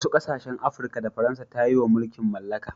wasu kasashen Afirka da Faransa ta yi wa mulkin mallaka